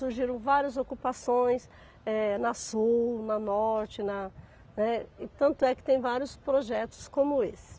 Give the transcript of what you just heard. Surgiram várias ocupações, eh na sul, na norte, na, né, e tanto é que tem vários projetos como esse.